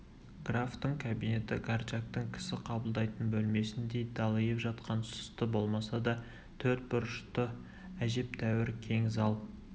графтың кабинеті горчактың кісі қабылдайтын бөлмесіндей далиып жатқан сұсты болмаса да төрт бұрышты әжептәуір кең зал